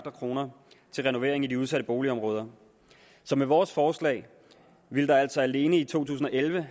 kroner til renovering i de udsatte boligområder med vores forslag ville der altså alene i to tusind og elleve